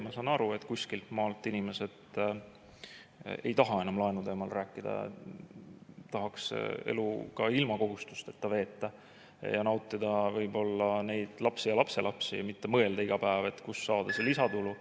Ma saan aru, et kuskilt maalt inimesed ei taha enam laenu teemal rääkida, tahaks elu ka ilma kohustusteta veeta ja nautida võib-olla lapsi ja lapselapsi, mitte iga päev mõelda, kust saada lisatulu.